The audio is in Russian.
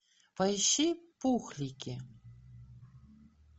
поищи пухлики